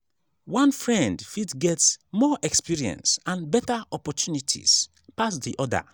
one friend fit get more experience and better opportunities pass di other